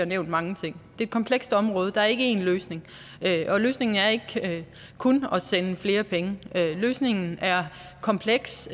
nævnt mange ting det er et komplekst område og der er ikke én løsning og løsningen er ikke kun at sende flere penge løsningen er kompleks